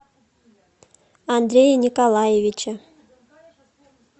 андрея николаевича